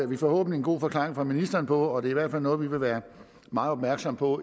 vi forhåbentlig en god forklaring fra ministeren på og det er i hvert fald noget vi vil være meget opmærksom på